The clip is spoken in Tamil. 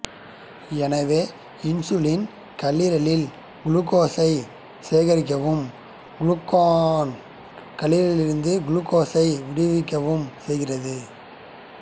எனவே இன்சுலின் கல்லீரலில் குளுக்கோசை சேகரிக்கவும் குளுக்கொகான் கல்லீரலிலிருந்து குளுக்கோசை விடுவிக்கவும் செய்கின்றன